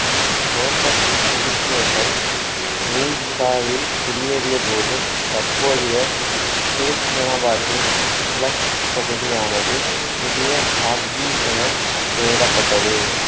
Cossack உருசியர்கள் உல்காவில் குடியேறியபோது தற்போதைய துருக்மெனாபாத்தின் கிழக்குப் பகுதியானது புதிய சார்ட்ஜுய் என பெயரிடப்பட்டது